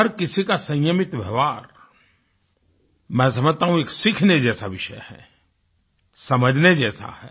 हर किसी का संयमित व्यवहार मैं समझता हूँ एक सीखने जैसा विषय है समझने जैसा है